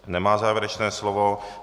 Nemá závěrečné slovo.